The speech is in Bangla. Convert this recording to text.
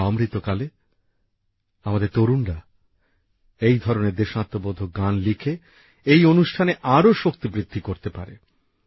এখন অমৃতকালে আমাদের তরুণরা এই ধরনের দেশাত্মবোধক গান লিখে এই অনুষ্ঠানকে আরও আকর্ষণীয় করতে পারে